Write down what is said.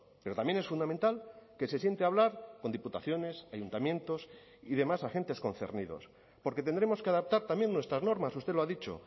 pero también es fundamental que se siente a hablar con diputaciones ayuntamientos y demás agentes concernidos porque tendremos que adaptar también nuestras normas usted lo ha dicho